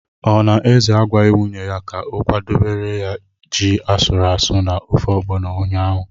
Ọ na Eze agwaghị nwunye ya ka ọ kwadebere ya ji asụrụ asụ na ofe Ọgbọnọ ụnyaahụ?